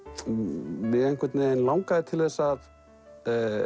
mig langaði til þess að